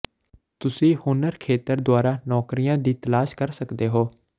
ਤੁਸੀਂ ਹੁਨਰ ਖੇਤਰ ਦੁਆਰਾ ਨੌਕਰੀਆਂ ਦੀ ਤਲਾਸ਼ ਕਰ ਸਕਦੇ ਹੋ